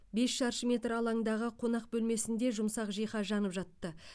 бес шаршы метр алаңдағы қонақ бөлмесінде жұмсақ жиһаз жанып жатты